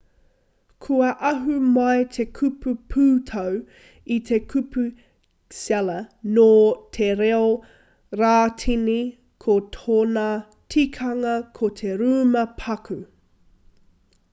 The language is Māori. kua ahu mai te kupu pūtau i te kupu cella nō te reo rātini ko tōna tikanga ko te rūma paku